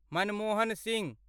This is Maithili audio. मनमोहन सिंह